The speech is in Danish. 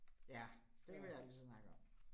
Ja, det kan vi altid snakke om